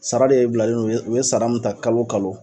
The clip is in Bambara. Sara de bilalen no o bɛ o bɛ sara mun ta kalo kalo.